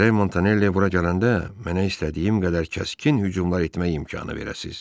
Gərək Montanelli bura gələndə mənə istədiyim qədər kəskin hücumlar etmək imkanı verəsiz.